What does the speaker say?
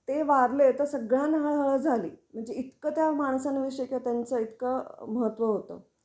ते वारले तर सगळ्यांना हळ हळ झाली. म्हणजे इतकं त्या माणसांन विषयी कि त्यांच इतक महत्व होतं.